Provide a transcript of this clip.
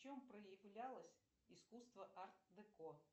в чем проявлялось искусство арт деко